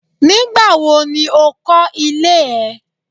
Nígbà wo ni ó kọ́ ilé ẹ.?